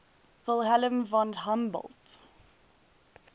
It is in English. wilhelm von humboldt